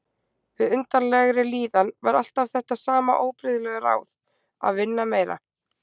Við undarlegri líðan var alltaf þetta sama óbrigðula ráð: Að vinna meira.